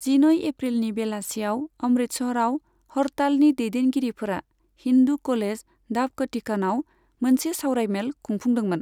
जिनै एप्रिलनि बेलासियाव अमृतसराव हड़तालनि दैदेनगिरिफोरा हिन्दु कलेज ढाब खटीकानाव मोनसे सावरायमेल खुंफुंदोंमोन।